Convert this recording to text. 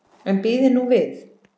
En bíðið nú við.